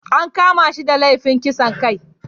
An kama shi da laifin kisan kai